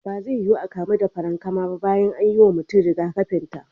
Ba zai yuwu a kamu da farankama ba bayan an yi wa mutum rigakafin ta.